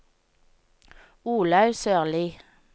Olaug Sørlie